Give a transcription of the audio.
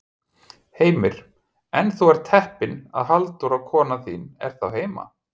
Heimir: En þú ert heppinn að Halldóra kona þín er þá heima?